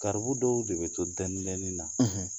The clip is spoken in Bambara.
Garibu dɔw de bɛ to dɛnin dɛnin na;